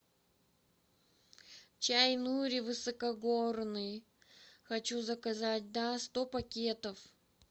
чай нури высокогорный хочу заказать да сто пакетов